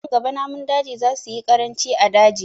Nan gaba namun daji za su yi ƙaranci a daji